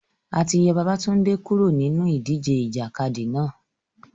A ti yọ Babatunde kuro ninu idije ijakadi náa